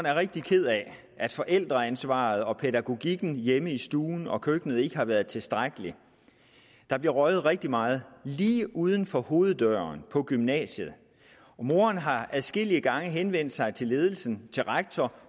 er rigtig ked af at forældreansvaret og pædagogikken hjemme i stuen og køkkenet ikke har været tilstrækkelig der bliver røget rigtig meget lige uden for hoveddøren på gymnasiet og moderen har adskillige gange henvendt sig til ledelsen til rektor